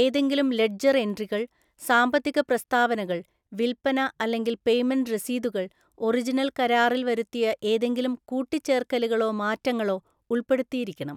ഏതെങ്കിലും ലെഡ്ജർ എൻട്രികൾ, സാമ്പത്തിക പ്രസ്താവനകൾ, വിൽപ്പന അല്ലെങ്കിൽ പേയ്മെന്റ് രസീതുകൾ, ഒറിജിനൽ കരാറിൽ വരുത്തിയ ഏതെങ്കിലും കൂട്ടിച്ചേർക്കലുകളോ മാറ്റങ്ങളോ ഉൾപ്പെടുത്തിയിരിക്കണം.